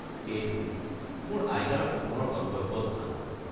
সেইটো মোৰ আইতাৰ সপোনৰ গন্তব্যস্থান।